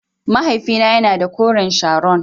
Mahaifina yana da koren Sharon.